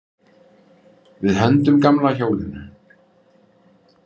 Við hendum gamla hjólinu.